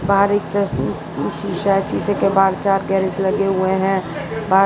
बाहर एक डस्ट अह शीशा है शीशे के बाहर चार गैरेज लगे हुए हैं बाहर --